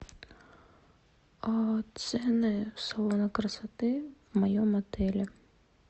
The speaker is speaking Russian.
цены салона красоты в моем отеле